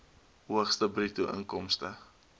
hoogste bruto inkomste